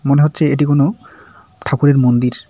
মনে হচ্ছে এটা কোনো ঠাকুরের মন্দির।